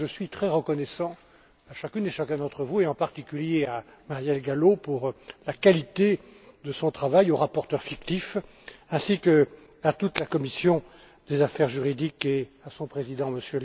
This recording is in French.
Je suis donc très reconnaissant à chacune et à chacun d'entre vous, en particulier à Marielle Gallo pour la qualité de son travail et aux rapporteurs fictifs, ainsi qu'à toute la commission des affaires juridiques et à son président, M.